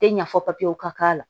Tɛ ɲa fɔ papiyew ka k'a la